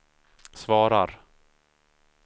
svarar